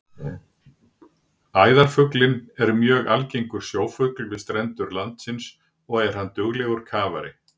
Æðarfuglinn er mjög algengur sjófugl við strendur landsins og er hann duglegur kafari.